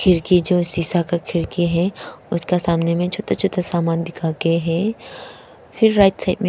क्योंकि जो शीशा का खिड़की है उसका सामने में छोटा छोटा सामान दिखाके है फिर राइट साइड में--